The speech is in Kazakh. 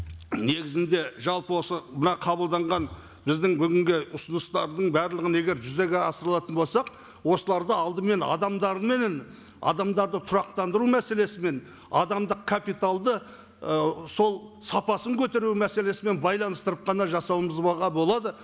негізінде жалпы осы мына қабылданған біздің бүгінгі ұсыныстардың барлығын егер жүзеге асырылатын болсақ осыларды алдымен адамдарменен адамдарды тұрақтандыру мәселесімен адамдық капиталды і сол сапасын көтеру мәселесімен байланыстырып қана болады